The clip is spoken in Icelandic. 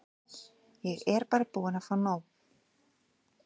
Ég er bara búin að fá nóg.